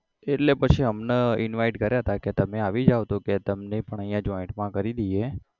એટલે પછી અમને invite કરયા હતા કે તમે આવી જાઓ તો કે તમને પણ અહીંયા joint માં કરી દઈએ